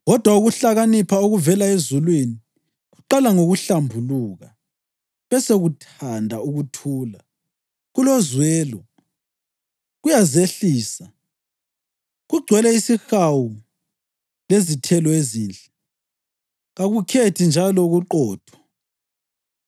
Kodwa ukuhlakanipha okuvela ezulwini kuqala ngokuhlambuluka; besekuthanda ukuthula, kulozwelo, kuyazehlisa, kugcwele isihawu lezithelo ezinhle, kakukhethi njalo kuqotho.